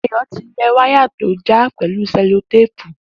Dayo ti lẹ wàyá tó jà yẹn pẹ̀lú sẹ̀lótépú